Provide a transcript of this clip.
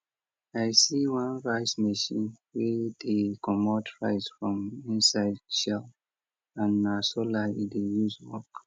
i see one rice machine wey dey comot rice from inside shell and na solar e dey use work